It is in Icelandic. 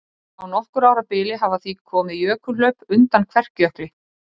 Á nokkurra ára bili hafa því komið jökulhlaup undan Kverkjökli.